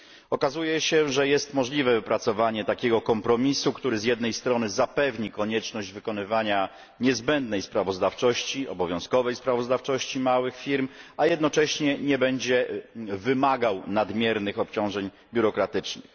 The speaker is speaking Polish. Okazuje się, że jest możliwe wypracowanie takiego kompromisu, który z jednej strony zapewni konieczność wykonywania niezbędnej, obowiązkowej sprawozdawczości małych firm, a jednocześnie nie będzie wymagał nadmiernych obciążeń biurokratycznych.